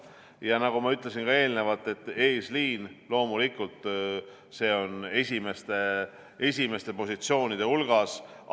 Ja nagu ma ka eelnevalt ütlesin, on eesliin loomulikult esimeste positsioonide hulgas.